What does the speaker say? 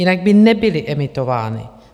Jinak by nebyly emitovány.